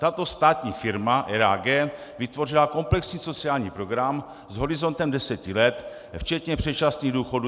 Tato státní firma RAG vytvořila komplexní sociální program s horizontem deseti let včetně předčasných důchodů.